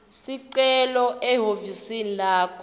sicelo ehhovisi lakho